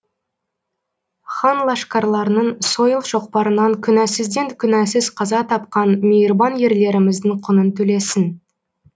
хан лашкарларының сойыл шоқпарынан күнәсізден күнәсіз қаза тапқан мейірбан ерлеріміздің құнын төлесін